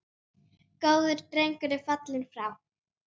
Góður drengur er fallinn frá.